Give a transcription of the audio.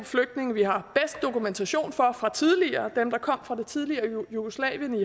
flygtninge vi har bedst dokumentation for fra tidligere dem der kom fra det tidligere jugoslavien i